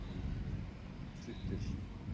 Það stendur ekkert slíkt til.